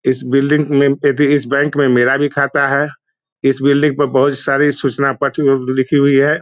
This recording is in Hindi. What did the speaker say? इस बिल्डिंग में एथी इस बैंक में मेरा भी खाता है इस बिल्डिंग में बहुत सारी सुचना पत्र लिखी हुई है।